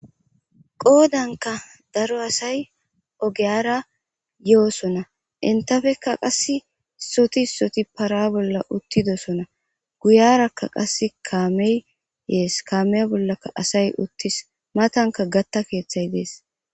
Qodanikka daro asayiogiyara yosonna enitappe qasi isoti isoti para bolla uttidosonna guyarakka qase kameyi yees,kamiya bollakka asayi uttis matannikka gaata keththayi dees.